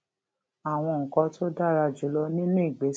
àwọn nǹkan tó dára jù lọ nínú ìgbésí